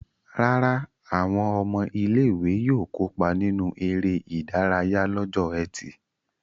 Rárá, àwọn ọmọ ilé-ìwé yóò kópa nínú eré-idárayá lọ́jọ́ ẹtì.